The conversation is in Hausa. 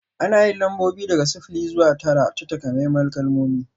Ana yin lambobi daga sifili zuwa tara ta takamaiman kalmomi